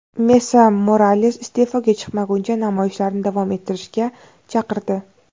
Mesa Morales iste’foga chiqmaguncha namoyishlarni davom ettirishga chaqirdi.